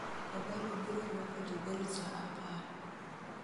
kogalo biro rwako jogol saa apar